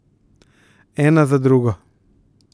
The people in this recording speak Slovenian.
Ena za drugo.